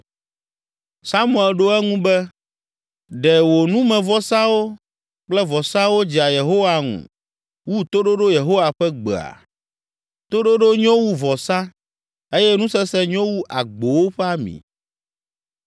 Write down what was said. Samuel ɖo eŋu be, “Ɖe wò numevɔsawo kple vɔsawo dzea Yehowa ŋu wu toɖoɖo Yehowa ƒe gbea? Toɖoɖo nyo wu vɔsa eye nusese nyo wu agbowo ƒe ami.